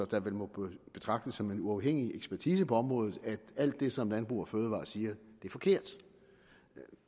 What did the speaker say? der vel må betragtes som en uafhængig ekspertise på området at alt det som landbrug fødevarer siger er forkert